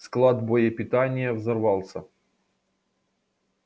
склад боепитания взорвался